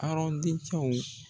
Arɔn dencɛw